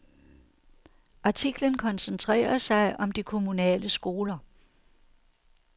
Artiklen koncentrerer sig om de kommunale skoler.